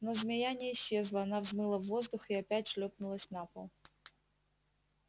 но змея не исчезла она взмыла в воздух и опять шлёпнулась на пол